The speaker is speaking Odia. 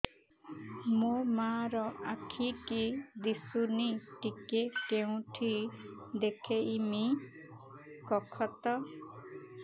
ମୋ ମା ର ଆଖି କି ଦିସୁନି ଟିକେ କେଉଁଠି ଦେଖେଇମି କଖତ